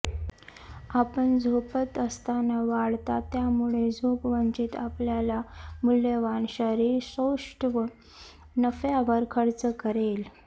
आपण झोपत असताना वाढतात त्यामुळे झोप वंचित आपल्याला मूल्यवान शरीरसौष्ठव नफ्यावर खर्च करेल